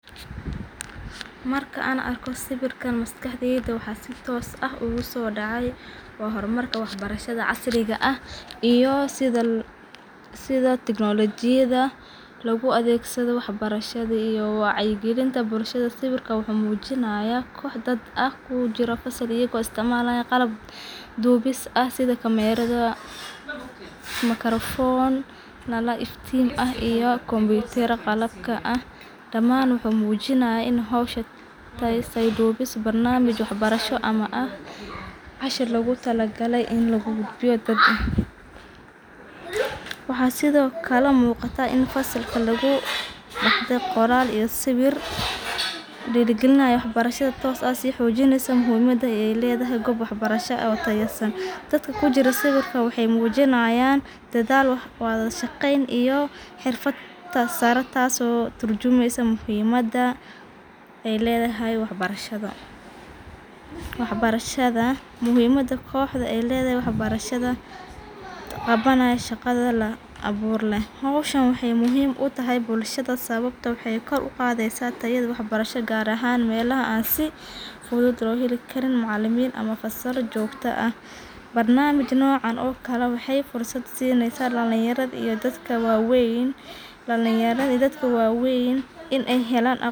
Marka an argo sawirkan maskaxday waxa si toos aah ugu sodacay waa hormarka waxa barshada casriga aah iyo sidha technology yada looga adhegsadho wax barshada iyo waacya galiinta bulshada. Sawirka waxu mujinaya koox daad aah oo kujiro fasaal ayago isticmalayan qalaab doo bis aha sidha camera, micorphone nala iftiin ah iyo computer qalaabka aah. Waxay daaman mujinaya inay hawshan taays duubiis barnamij wax barsho ama aah casharka lagu talagalay in lagu gudbiyo.. waxo sidho kala mooqata in fasalka lagu qore qoraal iyo sawir diragalinayo wax barshada toos ah sii xoojinayso muhiimada ay ledahay qoob waxa barsha aah oo tayeesaan. Waxa kujiro sawirkaan waxay mujinayan dadhaal wadhashaqeen iyo xirfaad sara taaso oo turjumeysa muhiimada ay ledahay wax barshada. Wax barshada muhiimada kooxda ay ledahay wax barshada waa qabanayo shaqadha aboor leeh. Hawshaan waxay muhiim u tahay bulshada sababto waxay koor uqadheysa tayadha wax barsho gaar ahaan melaha an si fudud loo heli kariin macalamin ama fasalo joogta aah. Barnamij noocan o kale waxay fursaad sinaysa dalan yaradha iyo daadka wa weyn in ay heelan aqqon.